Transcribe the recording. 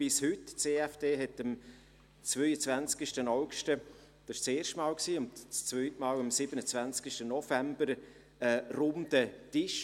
Das EFD organisierte am 22. August zum ersten Mal und am 27. November zum zweiten Mal einen Runden Tisch.